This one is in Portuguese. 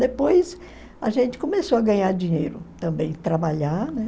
Depois, a gente começou a ganhar dinheiro também, trabalhar.